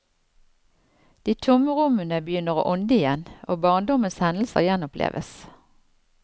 De tomme rommene begynner å ånde igjen, og barndommens hendelser gjenoppleves.